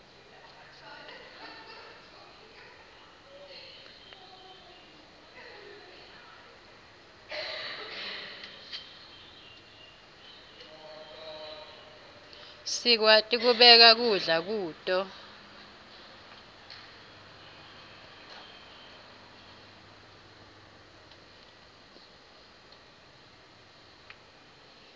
sikwati kubeka kudla kuto